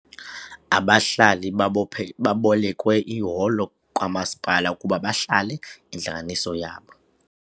Abahlali babophe babolekwe iholo kamasipala ukuba bahlale intlanganiso yabo.